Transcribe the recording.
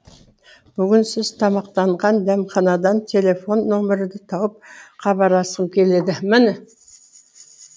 бүгін сіз тамақтанған дәмханадан телефон нөмірді тауып хабарласқым келді міне